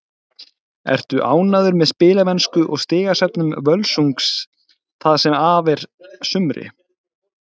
Ertu ánægð með spilamennsku og stigasöfnun Völsungs það sem af er sumri?